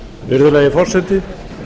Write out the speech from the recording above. virðulegi forseti ég